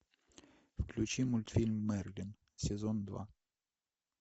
включи мультфильм мерлин сезон два